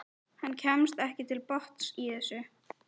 Hann kemst ekki til botns í þessu.